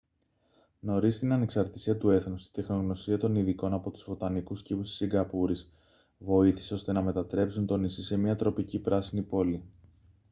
νωρίς στην ανεξαρτησία του έθνους η τεχνογνωσία των ειδικών από τους βοτανικούς κήπους της σιγκαπούρης βοήθησε ώστε να μετατρέψουν το νησί σε μια τροπική πράσινη πόλη